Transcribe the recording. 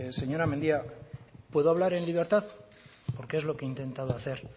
señora mendia puedo hablar en libertad porque es lo que he intentado hacer